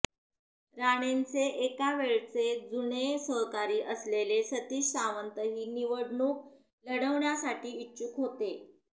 राणेंचे एकेकाळचे जुने सहकारी असलेले सतीश सावंतही निवडणूक लढवण्यासाठी इच्छुक होते